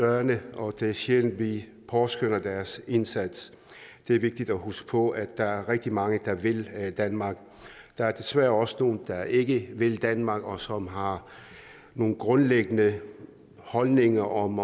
dørene og det er sjældent vi påskønner deres indsats det er vigtigt at huske på at der er rigtig mange der vil danmark der er desværre også nogle der ikke vil danmark og som har nogle grundlæggende holdninger om